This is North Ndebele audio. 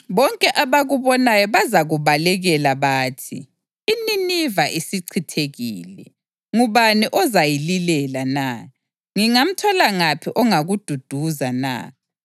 Bonke abakubonayo bazakubalekela bathi, ‘iNiniva isichithekile, ngubani ozayililela na?’ Ngingamthola ngaphi ongakududuza na?”